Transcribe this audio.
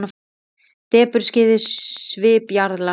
Depurð skyggði svip jarla.